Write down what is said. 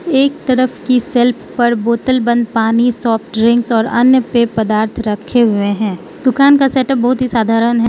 एक तरफ की शेल्फ पर बोतल बंद पानी सॉफ्ट ड्रिंक्स और अन्य पेय पदार्थ रखे हुए हैं दुकान का सेटअप बहुत ही साधारण है।